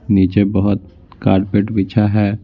नीचे बहुत कारपेट बिछा है।